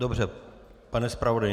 Dobře, pane zpravodaji.